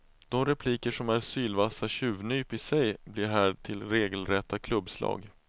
De repliker som är sylvassa tjuvnyp i sig blir här till regelrätta klubbslag.